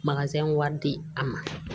wari di a ma